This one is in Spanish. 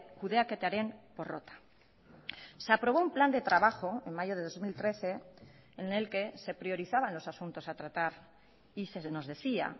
kudeaketaren porrota se aprobó un plan de trabajo en mayo de dos mil trece en el que se priorizaban los asuntos a tratar y se nos decía